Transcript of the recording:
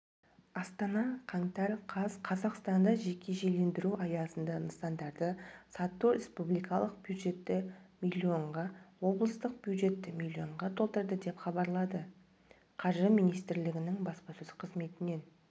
астана қаңтар қаз қазақстанда жекешелендіру аясында нысандарды сату республикалық бюджетті млн-ға облыстық бюджетті млн-ға толтырды деп хабарлады қаржы министрлігінің баспасөз қызметінен